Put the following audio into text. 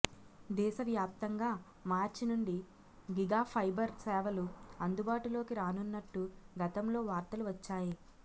దేశ వ్యాప్తంగా మార్చి నుండి గిగాఫైబర్ సేవలు అందుబాటులోకి రానున్నట్టు గతంలో వార్తలు వచ్చాయి